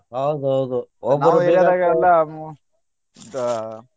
ಹೌದು ಹೌದು ಒಬ್ರು .